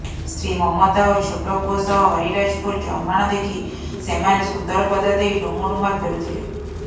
ସ୍ତ୍ରୀ ମମତା ଓ ଛୋଟ ପୁଅ ସହ ହରିରାଜପୁର ଜମାଣ ଦେଖି ସେମାନେ ସୁନ୍ଦରପଦା ଦେଇ ଡୁମୁଡୁମା ଫେରୁଥିଲେ